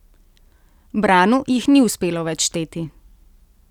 Branu jih ni uspelo več šteti.